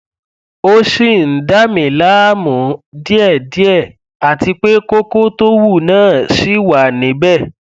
ó ṣì ń dà mí láàmú díẹdíẹ àti pé kókó tó wú náà ṣì wà níbẹ